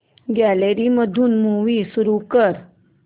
gallery मध्ये movie सुरू कर